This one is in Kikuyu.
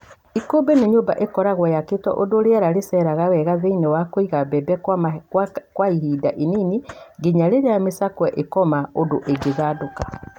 Ikũmbĩ nĩ nyũmba ĩkoragwo yakĩtwo ũndũ rĩera rĩceraga wega thĩinĩ ya kũiga mbembe kwa ihinda inini nginya rĩrĩa mĩcakwe ĩkoma ũndũ ĩngĩthandũrĩka.